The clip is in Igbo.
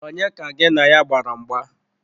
Onye ka gị na ya gbara mgba?